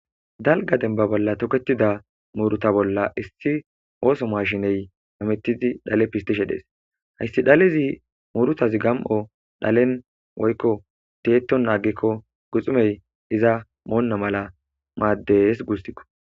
dalga denba bolla toketida muuruta bolla issi ooso maashiney amettidi dhale pistishe dhees hayssi dhalezi muurutazi gam7o dhalen woykko deeton naagikko guxumey iza moonna mala maaddes guustikko